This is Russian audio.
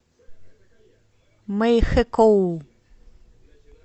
мэйхэкоу